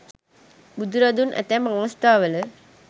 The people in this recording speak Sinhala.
බුදුරදුන් ඇතැම් අවස්ථාවල